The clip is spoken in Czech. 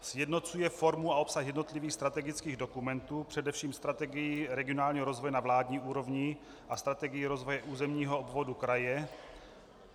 Sjednocuje formu a obsah jednotlivých strategických dokumentů, především strategii regionálního rozvoje na vládní úrovni a strategii rozvoje územního obvodu kraje.